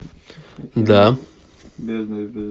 да